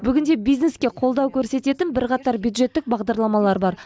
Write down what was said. бүгінде бизнеске қолдау көрсететін бірқатар бюджеттік бағдарламалар бар